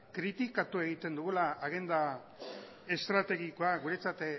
kritikatu egiten dugula agenda estrategikoa guretzat